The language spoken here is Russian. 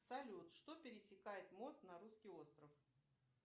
салют что пересекает мост на русский остров